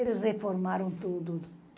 Eles reformaram tudo.